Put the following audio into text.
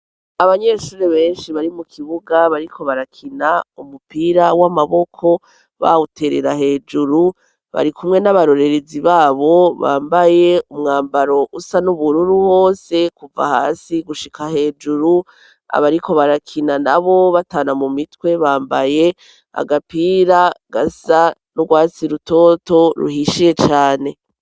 Abanyeshuri benshi bari mu kibuga bariko barakina umupira w'amaboko bawuterera hejuru bari kumwe n'abarorerezi babo bambaye umwambaro usa n'ubururu hose kuva hasi gushika hejuru abariko barakina na bo batana mu mitwe bambaye agapia ira gasa rwatsi rutoto ruhishiye cane.